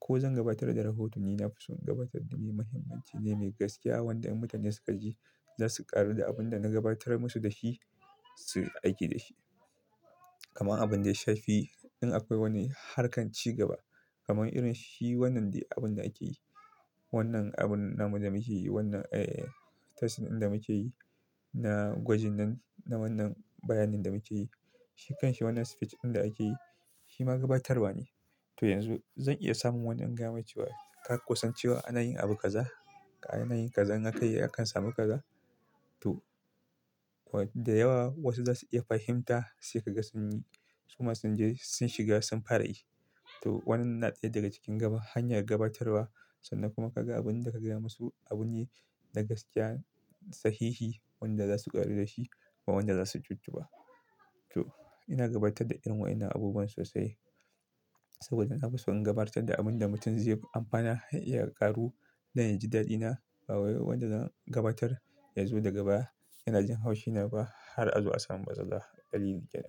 ko zan gabatar da rahoto ni na fi son gabatar da me mahimmanci ne, mai gaskiya wanda in mutane suka ji za su ƙaru da abin da na gabatar musu da shi su riƙa aiki da shi. Kaman abun da ya shafi in akwai wani harkar cigaba kaman irin shi wannan dai abun da ake yi, wannan abun namu da muke yi, wannan eh, tracing ɗin da muke yi na gwajin nan, na wannan bayanin da muke yi, shi kan shi wannan speech ɗin da ake yi shi ma gabatarwa ne. To yanzu zan iya samun wani in gaya mai cewa ka ko san cewa ana yin abu kaza, ana yin kaza in aka yi akan samu kaza. To, da yawa wasu za su iya fahimta sai ka ga sun yi. Su masu jin jiri sun shiga sun fara yi. To wannan na ɗaya daga cikin gaba hanyar gabatarwa sannan kuma ka ga abin da ka gaya musu abu ne na gaskiya, sahihi wanda za su ƙaru da shi ba wanda za su jijji ba. To ina gabatar da irin wa'inan abubuwan sosai saboda na fi son gabatar da abun da mutum zai amfana har ya ƙaru don ya ji daɗina ba wai wanda zan gabatar yazo daga baya yana jin haushi na ba har a zo a samu matsala dalilin ke nan.